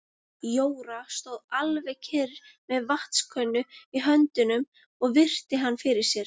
Jóra stóð alveg kyrr með vatnskönnu í höndunum og virti hann fyrir sér.